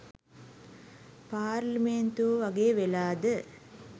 පාර්ලිමේන්තුව වගේ වෙලාද?